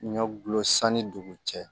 Ɲɔ gulo sanni dugu cɛ